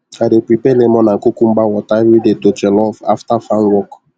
i dey prepare lemon and cucumber water everyday to jollof after farm work